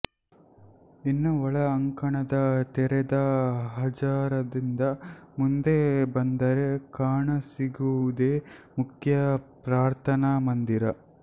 ಇನ್ನು ಒಳ ಅಂಕಣದ ತೆರೆದ ಹಜಾರದಿಂದ ಮುಂದೆ ಬಂದರೆ ಕಾಣಸಿಗುವುದೇ ಮುಖ್ಯ ಪ್ರಾರ್ಥನಾ ಮಂದಿರ